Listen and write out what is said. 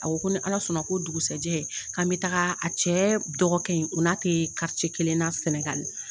A ko ni Ala sɔnna ko o dugusajɛ k'an bɛ taga a cɛ dɔgɔkɛ in o n'a tɛ kelen na Sɛnɛgali